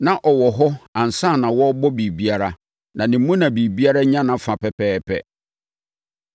Na ɔwɔ hɔ ansa na wɔrebɔ biribiara, na ne mu na biribiara nya nʼafa pɛpɛɛpɛ.